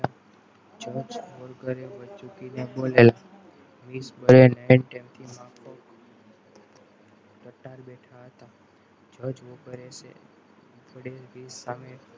અજમોલ કર મૂકીને બોલે ટટ્ટાર બેઠા હતા છે આપણને સામે